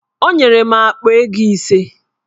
Onyere m akpa ego ise